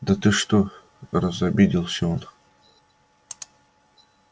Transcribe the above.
да ты что разобиделся он